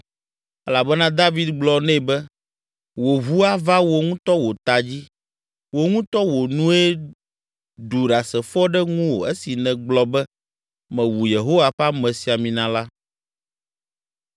Elabena David gblɔ nɛ be, “Wò ʋu ava wò ŋutɔ wò ta dzi. Wò ŋutɔ wò nue ɖu ɖasefo ɖe ŋuwò esi negblɔ be, ‘Mewu Yehowa ƒe amesiamina la.’ ”